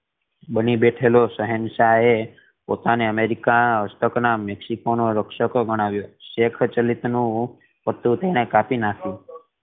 બની બેઠેલો શહેનશાહ એ પોતાને અમેરિકા હસ્તક ના મેક્સિકો નો રક્ષક ગણાવ્યો શેક ચલિત નુ એણે કાપી નાખ્યું